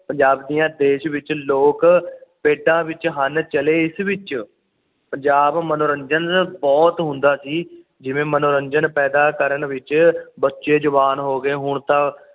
ਪੰਜਾਬੀਆਂ ਦੇਸ਼ ਵਿੱਚ ਲੋਕ ਬੇਟਾ ਵਿਚ ਹਨ ਚਾਲੇ ਇਸ ਵਿੱਚ ਪੰਜਾਬ ਮਨੋਰੰਜਨ ਬੁਹਤ ਹੁੰਦਾ ਸੀ ਜਿਵੇਂ ਮਨੋਰੰਜਨ ਪੈਦਾ ਕਰਨ ਵਿੱਚ ਬੱਚੇ ਜਵਾਨ ਹੋ ਗਏ ਹੁਣ ਤਾਂ